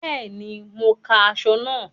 Bẹ́ẹ̀ni, mo ń ka aṣọ náà